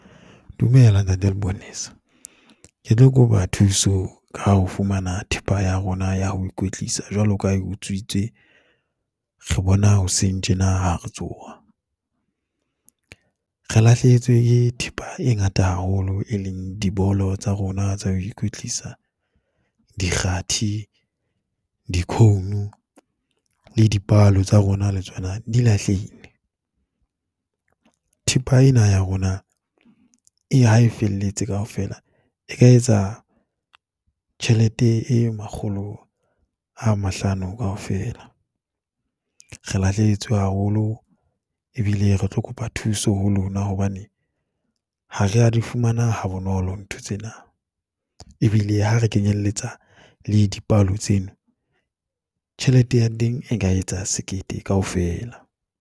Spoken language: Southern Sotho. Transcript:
Dumela ntate, leponesa. Ke tlo kopa thuso ka ho fumana thepa ya rona ya ho ikwetlisa jwalo ka ha utswitswe. Re bona hoseng tjena ha re tsoha. Re lahlehetswe ke thepa e ngata haholo e leng, dibolo tsa rona tsa ho ikwetlisa, dikgathi, di-cone le dipalo tsa rona le tsona di lahlehile. Thepa ena ya rona ha e felletse kaofela, e ka etsa tjhelete e makgolo a mahlano kaofela. Re lahlehetswe haholo ebile re tlo kopa thuso ho lona, hobane ha re a di fumana ha bonolo ntho tsena ebile ha re kenyelletsa le dipalo tseno, tjhelete ya teng e ka etsa sekete kaofela.